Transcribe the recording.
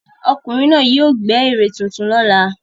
Ọkùnrin náà yóò gbẹ́ ère tuntun lọ́la.